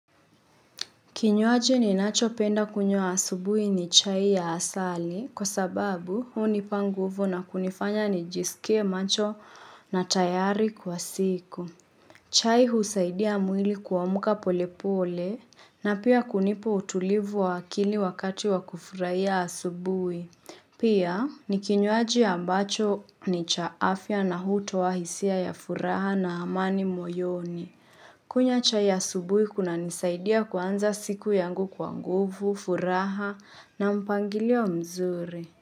Kinywaji ninachopenda kunywa asubuhi ni chai ya asali kwa sababu hunipa nguvu na kunifanya nijisikie macho na tayari kwa siku. Chai husaidia mwili kuamka pole pole na pia kunipa utulivu wa akili wakati wa kufurahia asubuhi. Pia ni kinywaji ambacho ni cha afya na hutoa hisia ya furaha na amani moyoni. Kunywa chai ya asubuhi kunanisaidia kuanza siku yangu kwa nguvu, furaha na mpangilio mzuri.